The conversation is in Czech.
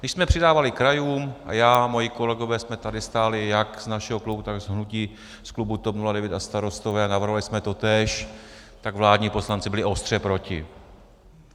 Když jsme přidávali krajům a já a moji kolegové jsme tady stáli jak z našeho klubu, tak z hnutí, z klubu TOP 09 a Starostové a navrhovali jsme totéž, tak vládní poslanci byli ostře proti.